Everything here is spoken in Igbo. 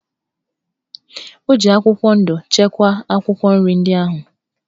O ji akwụkwọ ndụ chekwaa akwụkwọ nri ndị ahụ.